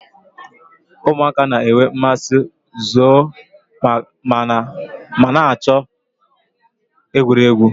Ụmụaka na-enwe mmasị zoo ma na-achọ egwuregwu